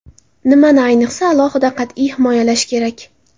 Nimani ayniqsa alohida qat’iy himoyalash kerak?